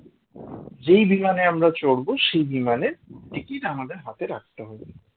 যেই বিমানে আমরা করব সেই বিমানের ticket আমাদের হাতে রাখতে হবে